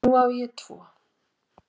Nú á ég tvo